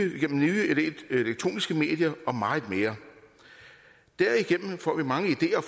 elektroniske medier og meget mere derigennem får vi mange ideer og